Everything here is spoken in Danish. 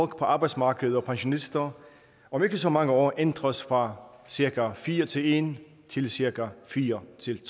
arbejdsmarkedet og pensionister om ikke så mange år ændres fra cirka fire til en til cirka fire til